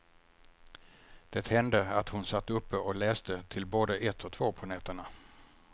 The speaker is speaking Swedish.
Det hände att hon satt uppe och läste till både ett och två på nätterna.